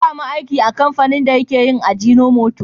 Ya sami aiki a kamfanin dake yin ajinomoto.